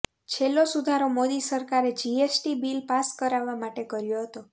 છેલ્લો સુધારો મોદી સરકારે જીએસટી બિલ પાસ કરાવવા માટે કર્યો હતો